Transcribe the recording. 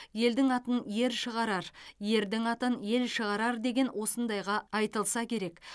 елдің атын ер шығарар ердің атын ел шығарар деген осындайға айтылса керек